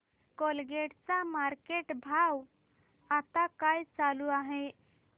Colgate चा market भाव आता काय चालू आहे